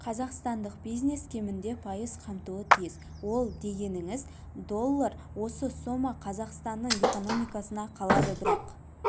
қазақстандық бизнес кемінде пайыз қамтуы тиіс ол дегеніңіз доллар осы сома қазақстанның экономикасына қалады бірақ